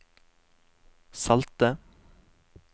salte